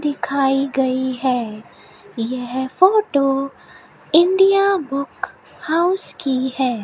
दिखाई गई है यह फोटो इंडिया बुक हाउस की है।